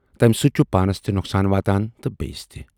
تمہِ سۭتۍ چھُ پانَس تہِ نۅقصان واتان تہٕ بییِس تہِ۔